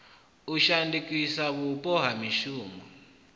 u shandukisa vhupo ha mushumoni